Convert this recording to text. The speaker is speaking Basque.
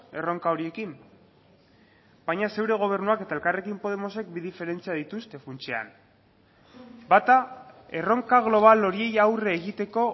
erronka horiekin baina zure gobernuak eta elkarrekin podemosek bi diferentzia dituzte funtsean bata erronka global horiei aurre egiteko